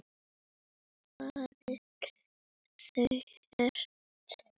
Nú farin þú ert.